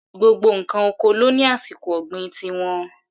Gbogbo ǹkan oko ló ní àsìkò ọ̀gbìn ti wọn.